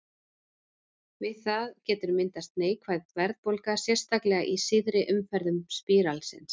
Við það getur myndast neikvæð verðbólga, sérstaklega í síðari umferðum spíralsins.